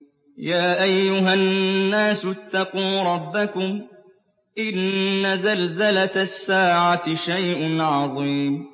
يَا أَيُّهَا النَّاسُ اتَّقُوا رَبَّكُمْ ۚ إِنَّ زَلْزَلَةَ السَّاعَةِ شَيْءٌ عَظِيمٌ